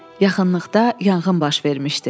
Yaxınlıqda yanğın baş vermişdi.